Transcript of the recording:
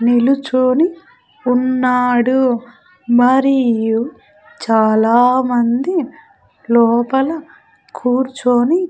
నిలుచోని ఉన్నాడు మరియు చాలామంది లోపల కూర్చుని.